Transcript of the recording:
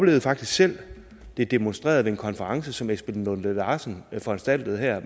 det faktisk selv demonstreret ved en konference som esben lunde larsen foranstaltede her